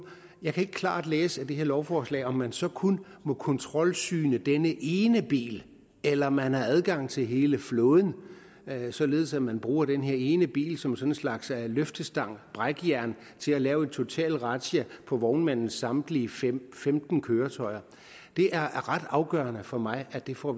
jeg kan ikke klart læse i det her lovforslag om man så kun må kontrolsyne denne ene bil eller om man har adgang til hele flåden således at man bruger den her ene bil som en slags løftestang brækjern til at lave en total razzia på vognmandens samtlige femten køretøjer det er ret afgørende for mig at vi får